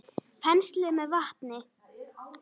Penslið með vatni.